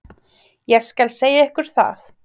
Ég skal segja ykkur það.